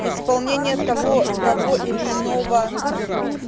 исполнение того того или иного